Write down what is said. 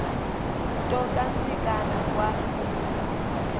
nto kantsikana kwa